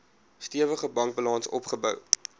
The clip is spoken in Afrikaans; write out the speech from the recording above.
stewige bankbalans opgebou